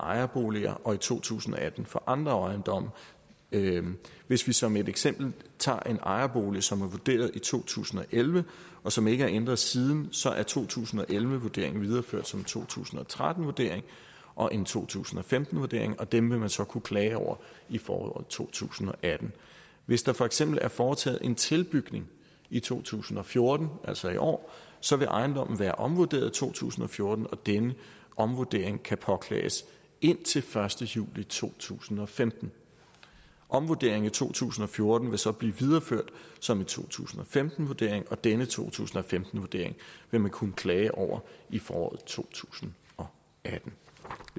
ejerboliger og i to tusind og atten for andre ejendomme hvis vi som et eksempel tager en ejerbolig som er vurderet i to tusind og elleve og som ikke er ændret siden så er to tusind og elleve vurderingen videreført som en to tusind og tretten vurdering og en to tusind og femten vurdering og dem vil man så kunne klage over i foråret to tusind og atten hvis der for eksempel er foretaget en tilbygning i to tusind og fjorten altså i år så vil ejendommen være omvurderet i to tusind og fjorten og denne omvurdering kan påklages indtil den første juli to tusind og femten omvurderingen i to tusind og fjorten vil så blive videreført som en to tusind og femten vurdering og denne to tusind og femten vurdering vil man kunne klage over i foråret to tusind og atten